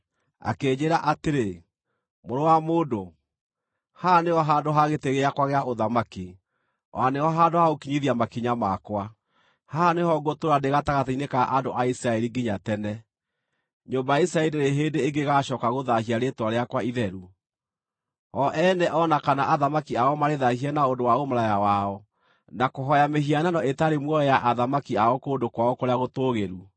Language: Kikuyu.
Akĩnjĩĩra atĩrĩ, “Mũrũ wa mũndũ, haha nĩho handũ ha gĩtĩ gĩakwa gĩa ũthamaki, o na nĩho handũ ha gũkinyithia makinya makwa. Haha nĩho ngũtũũra ndĩ gatagatĩ-inĩ ka andũ a Isiraeli nginya tene. Nyũmba ya Isiraeli ndĩrĩ hĩndĩ ĩngĩ ĩgaacooka gũthaahia rĩĩtwa rĩakwa itheru, o ene o na kana athamaki ao marĩthaahie na ũndũ wa ũmaraya wao na kũhooya mĩhianano ĩtarĩ muoyo ya athamaki ao kũndũ kwao kũrĩa gũtũũgĩru.